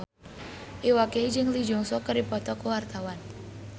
Iwa K jeung Lee Jeong Suk keur dipoto ku wartawan